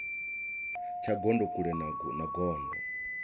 tsha gondo kule na gondo